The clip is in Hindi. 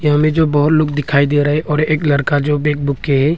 हमे जो बहुत लोग दिखाई दे रहा है एक लड़का जो बैग बुक के है।